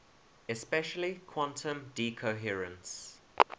especially quantum decoherence